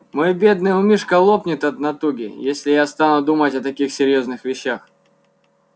мой бедный умишко лопнет от натуги если я стану думать о таких серьёзных вещах